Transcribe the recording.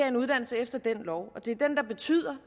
en uddannelse efter den lov og det er den der betyder